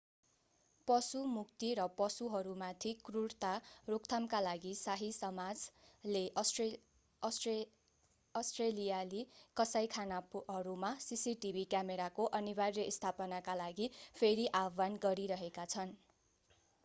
पशु मुक्ति र पशुहरूमाथि क्रुरता रोकथामका लागि शाही समाज rspcaले अष्ट्रेलियाली कसाइखानाहरूमा सीसीटीभी क्यामेराको अनिवार्य स्थापनाका लागि फेरि आह्वान गरिरहेका छन्।